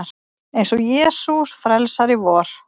Eins og Jesús frelsari vor.